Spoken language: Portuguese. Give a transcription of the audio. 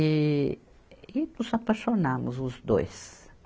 E, e nos apaixonamos os dois.